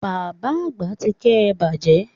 Bàbá Àgbà ti ké e bàjẹ́